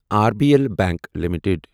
R B L bank limited